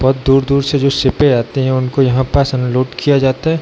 बहुत दूर-दूर से जो शिपें आती हैं उनको यहाँ पास अनलोड किया जाता है।